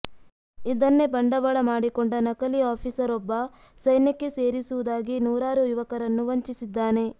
ಇದನ್ನೇ ಬಂಡವಾಳ ಮಾಡಿಕೊಂಡ ನಕಲಿ ಆಫಿಸರ್ ಒಬ್ಬ ಸೈನ್ಯಕ್ಕೆ ಸೇರಿಸುವುದಾಗಿ ನೂರಾರು ಯುವಕರನ್ನು ವಂಚಿಸಿದ್ದಾನೆ